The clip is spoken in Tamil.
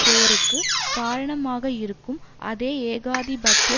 போருக்கு காரணமாக இருக்கும் அதே ஏகாதிபத்திய